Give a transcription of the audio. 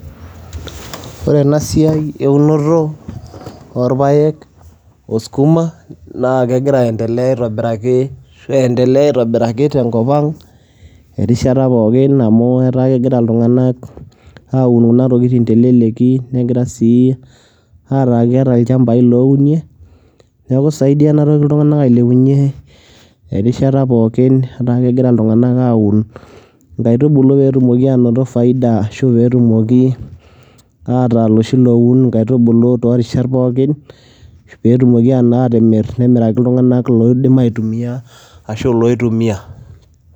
ore ena siai eunoto oorpaek, oskuma naa kegira aendelea aitobiraki, asu eendelea aitobiraki tenkop ang'.rishata pookin amu etaa kegira iltunganak, aaun kunatokitin telelki, negira sii ataa keeta ilchampai loounie. neeku isaidia ena toki iltunganak ailepunye. erishata pookin. etaa kegira iltungana aaun inkaitubulu pee etumoki aanoto, faida ahu pee tumoki ataa iloshi looun inkaitubulu too rishat pookin pe etumoki anaa aatimir. nemiraki iltungank loiidim aitumia ashu loitumia.